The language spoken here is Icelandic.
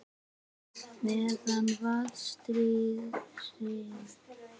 Meðan vatnsþrýstingur er nægur yfir eldstöðinni hleðst upp bólstraberg í geilinni.